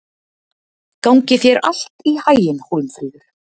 Gangi þér allt í haginn, Hólmfríður.